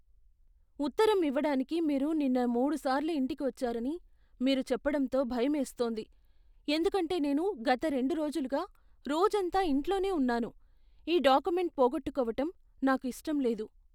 ఉత్తరం ఇవ్వడానికి మీరు నిన్న మూడుసార్లు ఇంటికి వచ్చారని మీరు చెప్పడంతో భయమేస్తోంది, ఎందుకంటే నేను గత రెండు రోజులుగా రోజంతా ఇంట్లోనే ఉన్నాను, ఈ డాక్యుమెంట్ పోగొట్టుకోవటం నాకు ఇష్టం లేదు.